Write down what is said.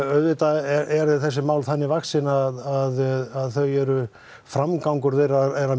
auðvitað eru þessi mál þannig vaxin að þau eru framgangur þeirra er að